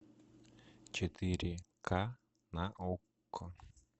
четыре ка на окко